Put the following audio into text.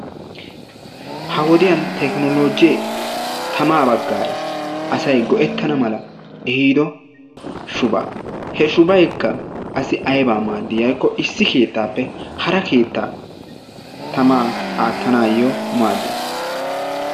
Ha wodiyan teekinoloje asay tamaa baggaara asay go'ettana mala ehido shubaa. He shubaykka qassi ayba maadi yaagiko issi keettape hara keetta tamaa attanayo maadees.